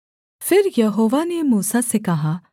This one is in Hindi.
फिर यहोवा ने मूसा से कहा